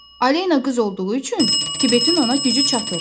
Alena qız olduğu üçün Tibetin ona gücü çatır.